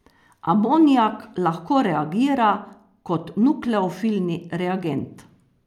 Amonijak lahko reagira kot nukleofilni reagent.